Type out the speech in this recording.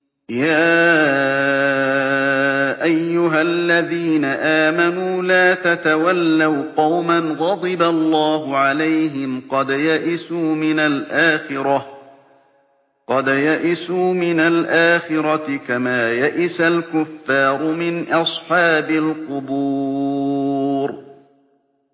يَا أَيُّهَا الَّذِينَ آمَنُوا لَا تَتَوَلَّوْا قَوْمًا غَضِبَ اللَّهُ عَلَيْهِمْ قَدْ يَئِسُوا مِنَ الْآخِرَةِ كَمَا يَئِسَ الْكُفَّارُ مِنْ أَصْحَابِ الْقُبُورِ